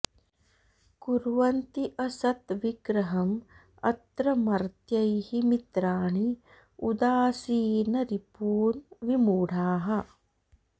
कुर्वन्ति असत् विग्रहम् अत्र मर्त्यैः मित्राणि उदासीन रिपून् विमूढाः